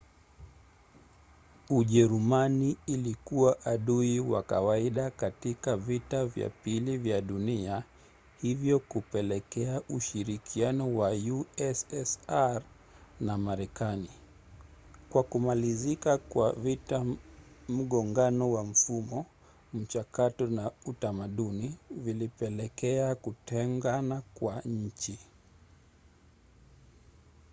ujerumani ilikuwa adui wa kawaida katika vita vya pili vya dunia hivyo kupelekea ushirikiano wa ussr na marekani. kwa kumalizika kwa vita mgongano wa mfumo mchakato na utamaduni vilipelekea kutengana kwa nchi